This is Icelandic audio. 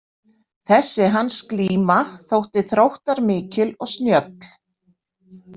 Þessi hans glíma þótti þróttarmikil og snjöll.